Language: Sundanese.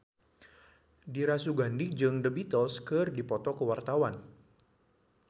Dira Sugandi jeung The Beatles keur dipoto ku wartawan